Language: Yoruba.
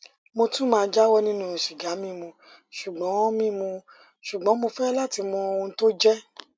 mo tún máa jáwọ nínú sìgá mímu ṣùgbọn mímu ṣùgbọn mo fẹ láti mọ ohun tó jẹ